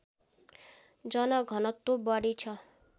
जनघनत्व बढी छ